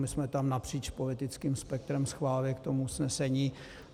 My jsme tam napříč politickým spektrem schválili k tomu usnesení.